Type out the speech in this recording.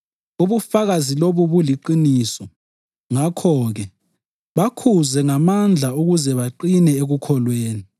Ubufakazi lobu buliqiniso. Ngakho-ke, bakhuze ngamandla ukuze baqine ekukholweni